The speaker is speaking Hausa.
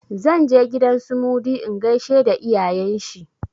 Zan je gidan su Mudi in gaishe da iyayen shi.